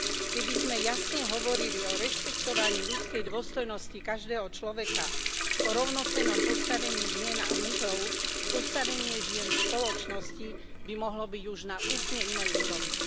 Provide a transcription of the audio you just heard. Keby sme jasne hovorili o rešpektovaní ľudskej dôstojnosti každého človeka, o rovnocennom postavení žien a mužov, postavenie žien v spoločnosti by mohlo byť už na úplne inej úrovni.